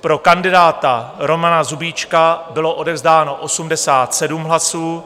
Pro kandidáta Romana Kubíčka bylo odevzdáno 87 hlasů,